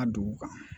A dugu kan